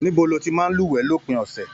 Níbo ló tí màá n luwẹ̀ lópin ọsẹ?